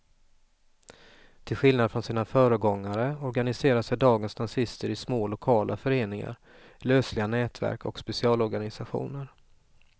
Till skillnad från sina föregångare organiserar sig dagens nazister i små lokala föreningar, lösliga nätverk och specialorganisationer.